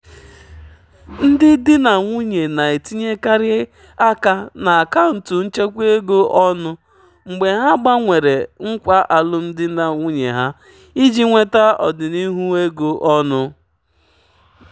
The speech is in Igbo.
ndị di na nwunye na-etinyekarị aka na akaụntụ nchekwa ego ọnụ mgbe ha gbanwere nkwa alụmdi na nwunye ha iji nweta ọdịnihu ego ọnụ.